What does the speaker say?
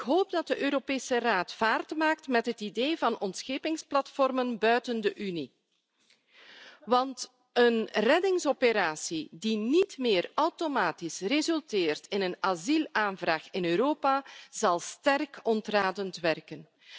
Ik hoop dat de Europese Raad vaart maakt met het idee van ontschepingsplatformen buiten de Unie, want een reddingsoperatie die niet meer automatisch resulteert in een asielaanvraag in Europa, zal sterk ontradend werken.